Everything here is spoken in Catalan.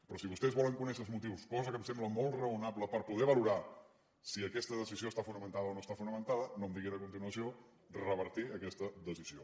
però si vostès volen conèixer els motius cosa que em sembla molt raonable per poder valorar si aquesta decisió està fonamentada o no està fonamentada no em diguin a continuació revertir aquesta decisió